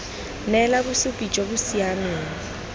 neela bosupi jo bo siameng